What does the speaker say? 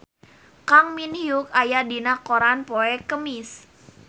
Kang Min Hyuk aya dina koran poe Kemis